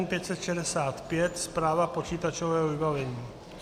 N565 - správa počítačového vybavení.